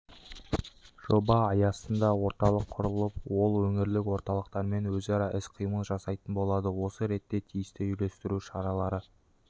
жоба аясында орталық құрылып ол өңірлік орталықтармен өзара іс-қимыл жасайтын болады осы ретте тиісті үйлестіру шаралары